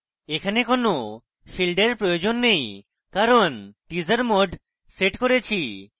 এখানে কোনো fields we প্রয়োজন নেই কারণ teaser mode set করেছি